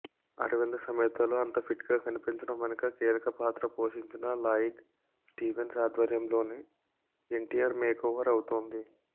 అరవింద సమేతలో అంత ఫిట్గా కనిపించడం వెనుక కీలక పాత్ర పోషించిన లాయిడ్ స్టీవెన్స్ ఆధ్వర్యంలోనే ఎన్టీఆర్ మేకోవర్ అవుతోంది